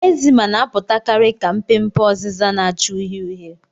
Ekzima na-apụtakarị ka mpe mpe oziza na-acha uhie uhie.